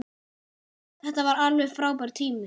Þetta var alveg frábær tími.